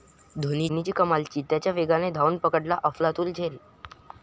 धोनीची कमाल, चित्त्याच्या वेगानं धावून पकडला अफलातून झेल